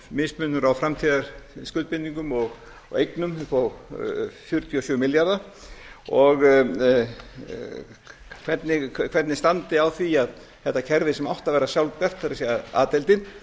mismunur á framtíðarskuldbindingum og eignum upp á fjörutíu og sjö milljarða og hvernig standi á því að þetta kerfi sem átti að vera sjálfbært það er a deildin